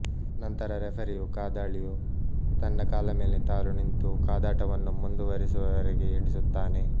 ನಂತರ ರೆಫರಿಯು ಕಾದಾಳಿಯು ತನ್ನ ಕಾಲಮೇಲೆ ತಾನು ನಿಂತು ಕಾದಾಟವನ್ನು ಮುಂದುವರಿಸುವವರೆಗೆ ಎಣಿಸುತ್ತಾನೆ